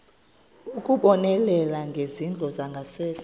ukubonelela ngezindlu zangasese